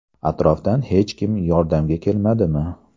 Atrofdan hech kim yordamga kelmadimi?